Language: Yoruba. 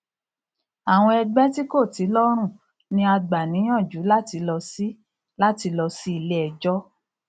àwọn ẹgbẹ ti kò ti lọrùn ni a gbà níyànjú láti lọ sí láti lọ sí ilé ẹjọ